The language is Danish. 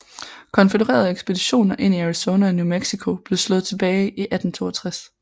Konfødererede ekspeditioner ind i Arizona og New Mexico blev slået tilbage i 1862